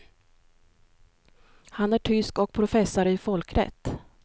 Han är tysk och professor i folkrätt.